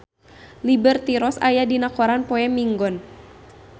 Liberty Ross aya dina koran poe Minggon